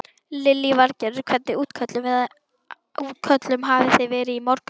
Lillý Valgerður: Hvernig útköllum hafi þið verið í morgun?